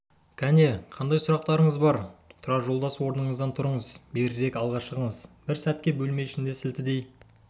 кәне қандай сұрақтарыңыз бар тұрар жолдас орныңыздан тұрыңыз берірек алға шығыңыз бір сәтке бөлме ішінде сілтідей